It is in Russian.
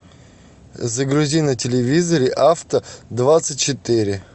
загрузи на телевизоре авто двадцать четыре